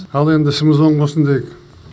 ал енді ісіміз оң болсын дейік